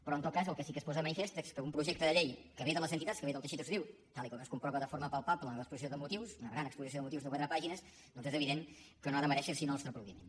però en tot cas el que sí que es posa de manifest és que un projecte de llei que ve de les entitats que ve del teixit associatiu tal com es comprova de forma palpable en l’exposició de motius una gran exposició de motius de quatre pàgines doncs és evident que no ha de merèixer sinó el nostre aplaudiment